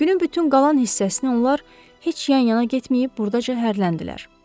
Günün bütün qalan hissəsini onlar heç yan-yana getməyib burdaca hərrləndilər.